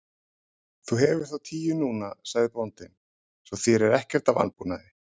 Þú hefur þá tíu núna, sagði bóndinn,-svo þér er ekkert að vanbúnaði.